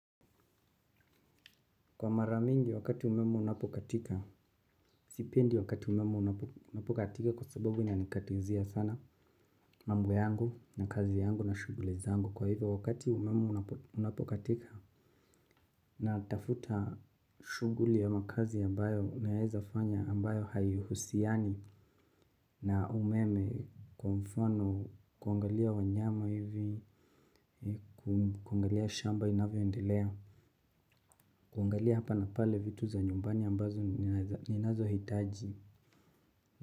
Kwa mara mingi wakati umeme unapokatika, sipendi wakati umeme unapokatika kwa sababu inanikatizia sana mambo yangu na kazi yangu na shughuli zangu. Kwa hivyo wakati umeme unapokatika natafuta shughuli ama kazi ambayo naeza fanya ambayo haihusiani na umeme kwa mfano kuangalia wanyama hivi, kuangalia shamba inavyoendelea, kuangalia hapa na pale vitu za nyumbani ambazo ninazohitaji.